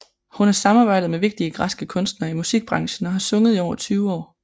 Hun har samarbejdet med vigtige græske kunstnere i musikbranchen og har sunget i over 20 år